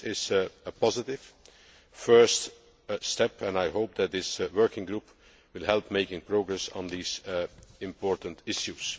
This is a positive first step and I hope that this working group will help in making progress on these important issues.